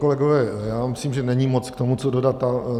Kolegové, já myslím, že není moc k tomu co dodat.